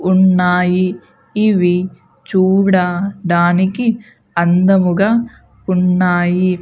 ఉన్నాయి ఇవి చూడడానికి అందముగా ఉన్నాయి.